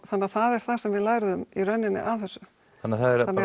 þannig að það er það sem við lærðum í rauninni af þessu þannig